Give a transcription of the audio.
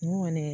N kɔni